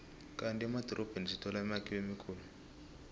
kandi emadorobheni sithola imakhiwo emikhulu